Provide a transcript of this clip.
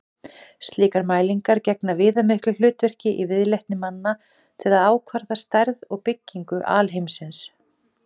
Slíkar mælingar gegna viðamiklu hlutverki í viðleitni manna til að ákvarða stærð og byggingu alheimsins.